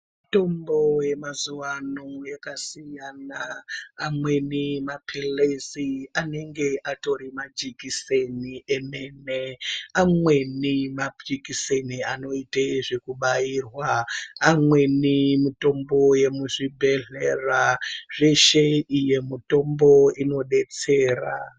Mitombo yemazuwa ano yakasiyana amweni maphilizi anenge atori majekiseni emene, amweni majekiseni anoite zvekubairwa amweni mitombo yemuzvibhedhlera zveshe iyo mitombo inodetsera.